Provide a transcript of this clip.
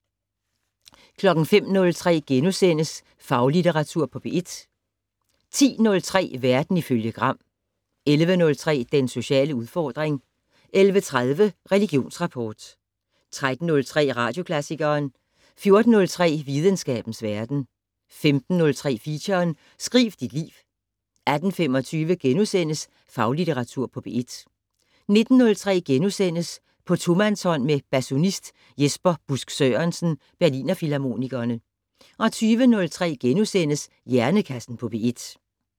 05:03: Faglitteratur på P1 * 10:03: Verden ifølge Gram 11:03: Den sociale udfordring 11:30: Religionsrapport 13:03: Radioklassikeren 14:03: Videnskabens verden 15:03: Feature: Skriv dit liv 18:25: Faglitteratur på P1 * 19:03: På tomandshånd med basunist Jesper Busk Sørensen, Berliner Philharmonikerne * 20:03: Hjernekassen på P1 *